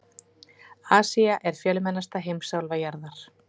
Asía er fjölmennasta heimsálfa jarðar.